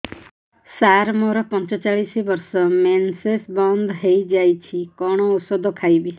ସାର ମୋର ପଞ୍ଚଚାଳିଶି ବର୍ଷ ମେନ୍ସେସ ବନ୍ଦ ହେଇଯାଇଛି କଣ ଓଷଦ ଖାଇବି